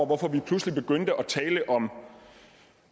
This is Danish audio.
hvorfor vi pludselig begyndte at tale om